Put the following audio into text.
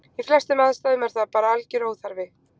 Í flestum aðstæðum er það bara algjör óþarfi.